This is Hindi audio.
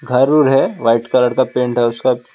घर ओर है व्हाइट कलर का पेंट है उसका--